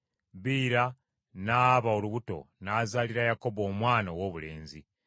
Biira n’aba olubuto n’azaalira Yakobo omwana owoobulenzi.